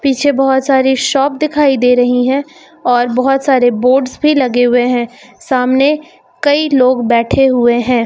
पीछे बहुत सारी शॉप दिखाई दे रही हैं और बहुत सारे बोर्डस भी लगे हुए हैं सामने कई लोग बैठे हुए है।